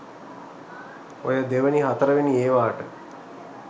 ඔය දෙවැනි හතරවෙනි ඒවාට